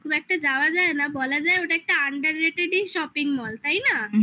খুব একটা যাওয়া যায় না, বলা যায় ওটা একটা under ই shopping mall তাই না?